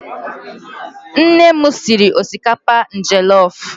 Nne m siri osikapa jellof